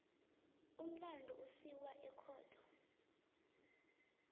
umlandu usiwa ekhotho